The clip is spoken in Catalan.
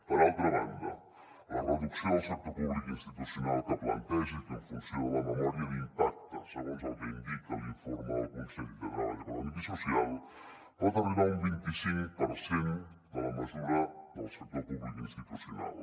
per altra banda la reducció del sector públic institucional que planteja en funció de la memòria d’impacte segons el que indica l’informe del consell de treball econòmic i social pot arribar a un vint i cinc per cent de la mesura del sector públic institucional